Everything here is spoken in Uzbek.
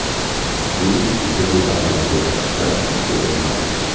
Bu bir yil avvalgi ko‘rsatkichdan ikki o‘rin past.